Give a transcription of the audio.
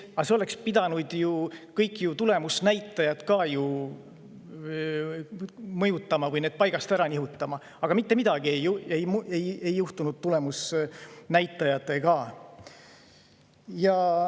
Aga see oleks pidanud ju ka kõiki tulemusnäitajaid mõjutama või need paigast ära nihutama, aga mitte midagi ei juhtunud tulemusnäitajatega.